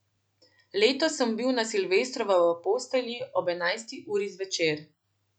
Letos sem bil na silvestrovo v postelji ob enajsti uri zvečer.